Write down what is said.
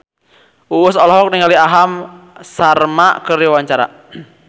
Uus olohok ningali Aham Sharma keur diwawancara